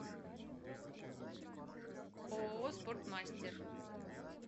ооо спортмастер